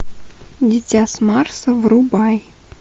дитя с марса врубай